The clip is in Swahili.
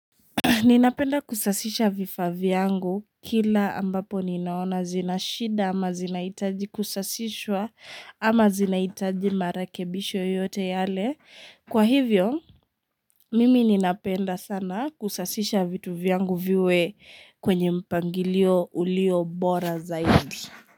Ninapenda kusasisha vifaa vyangu kila ambapo ninaona zina shida ama zinaitaji kusasishwa ama zinahitaji marakebisho yoyote yale. Kwa hivyo, mimi ninapenda sana kusasisha vitu vyangu viwe kwenye mpangilio ulio bora zaidi.